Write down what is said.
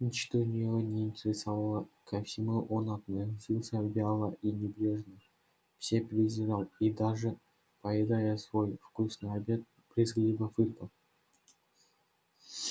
ничто его не интересовало ко всему он относился вяло и небрежно все презирал и даже поедая свой вкусный обед брезгливо фыркал